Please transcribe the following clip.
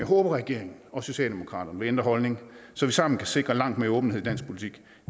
håber at regeringen og socialdemokratiet vil ændre holdning så vi sammen kan sikre langt mere åbenhed i dansk politik